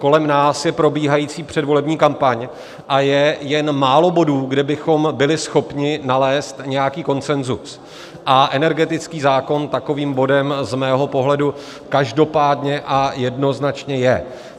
Kolem nás je probíhající předvolební kampaň a je jen málo bodů, kde bychom byli schopni nalézt nějaký konsenzus a energetický zákon takovým bodem z mého pohledu každopádně a jednoznačně je.